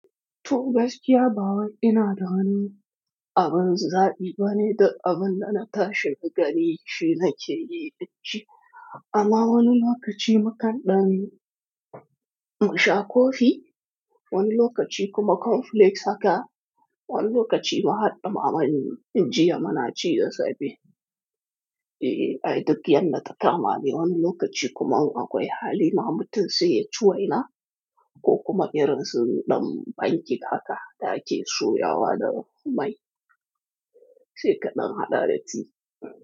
To gaskiya ba wai ina da wan abin zaɓi bane duk abin da na tashi gari shina ke yi dashi. Amma wani lokaci mu kan ɗan masha kofi, wani lokaci kuma cornflakes haka, wani lokaci ma haɗɗa naman jiya muna ci da safe. Eh, ai duk yadda ta tamani. Wani lokaci kuma in akwai hali na mutum sai ya ci waina ko kuma irin su ɗan panke haka da ake soyawa da mai. Sai kaɗan haɗa ta tea.